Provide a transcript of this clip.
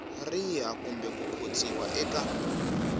riha kumbe ku khotsiwa eka